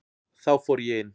Þá fór ég inn.